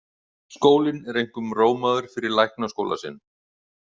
Skólinn er einkum rómaður fyrir læknaskóla sinn.